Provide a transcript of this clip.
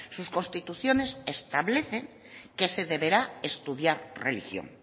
sus constituciones establecen que se deberá estudiar religión